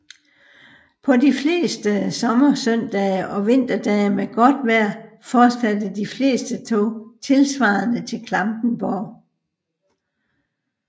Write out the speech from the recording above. På de fleste sommersøndage og vinterdage med godt vejr fortsatte de fleste tog tilsvarende til Klampenborg